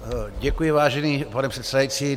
Děkuji, vážený pane předsedající.